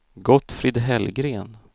Gottfrid Hellgren